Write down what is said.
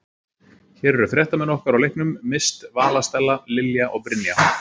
Hér eru fréttamenn okkar á leiknum, Mist, Vala Stella, Lilja og Brynja.